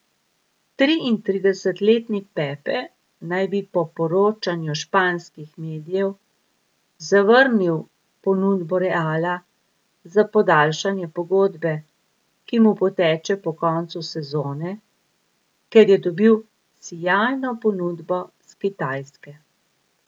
Triintridesetletni Pepe naj bi po poročanju španskih medijev zavrnil ponudbo Reala za podaljšanje pogodbe, ki mu poteče po koncu sezone, ker je dobil sijajno ponudbo s Kitajske.